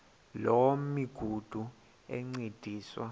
loo migudu encediswa